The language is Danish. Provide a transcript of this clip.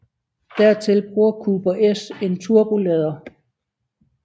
Dertil bruger Cooper S en turbolader